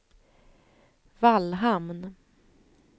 Vallhamn